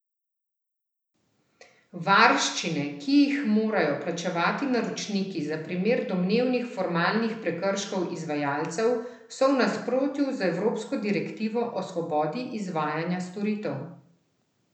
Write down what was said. Varščine, ki jih morajo plačevati naročniki za primer domnevnih formalnih prekrškov izvajalcev, so v nasprotju z evropsko direktivo o svobodi izvajanja storitev.